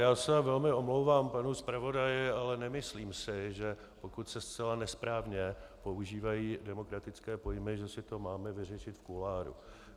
Já se velmi omlouvám panu zpravodaji, ale nemyslím si, že pokud se zcela nesprávně používají demokratické pojmy, že si to máme vyřešit v kuloáru.